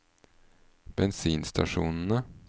bensinstasjonene